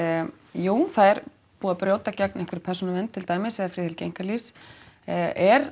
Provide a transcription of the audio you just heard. jú það er búið að brjóta gegn einhverri persónuvernd til dæmis eða friðhelgi einkalífs er